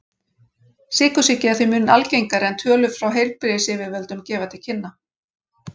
Sykursýki er því mun algengari en tölur frá heilbrigðisyfirvöldum gefa til kynna.